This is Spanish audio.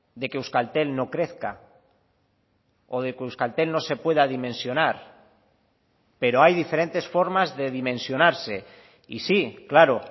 de que euskaltel no crezca o de que euskaltel no se pueda dimensionar pero hay diferentes formas de dimensionarse y sí claro